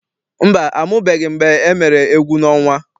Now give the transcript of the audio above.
Mba, amụbeghị m mgbe emere egwuọnwa.